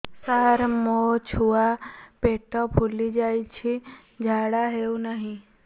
ସାର ମୋ ଛୁଆ ପେଟ ଫୁଲି ଯାଉଛି ଝାଡ଼ା ହେଉନାହିଁ